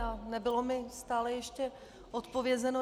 A nebylo mi stále ještě odpovězeno.